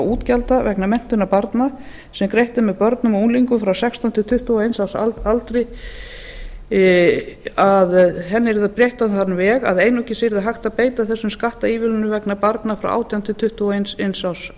útgjalda vegna menntunar barna sem greitt er með börnum og unglingum frá sextán til tuttugu og eins árs aldri yrði breytt á þann veg að einungis yrði hægt að beita þessum skattaívilnunum vegna barna frá átján til tuttugu og eins árs aldrei